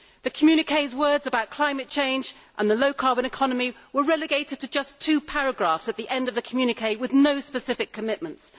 The communiqué's words about climate change and the low carbon economy were relegated to just two paragraphs at the end of the communiqué, with no specific commitments.